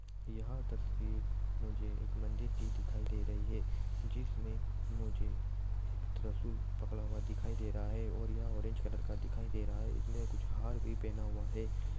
यह तस्वीर मुझे एक मंदिर की दिखाई दे रही है जिसमे मुझे एक त्रसूल पकड़ा हुआ दिखाई दे रहा है और यह ऑरेंज कलर का दिखाई दे रहा है कुछ हार भी पहना हुआ है।